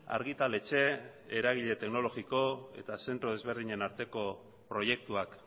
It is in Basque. argitaletxe eragile teknologiko eta zentro desberdinen arteko proiektuak